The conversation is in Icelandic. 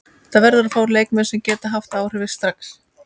Það verður að fá leikmenn sem geta haft áhrif strax.